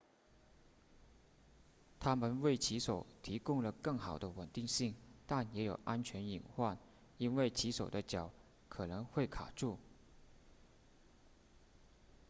它们为骑手提供了更好的稳定性但也有安全隐患因为骑手的脚可能会卡住